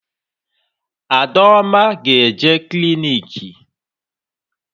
Adaoma ga-eje klinik